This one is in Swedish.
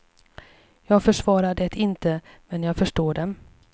Jag försvarar det inte, men jag förstår dem.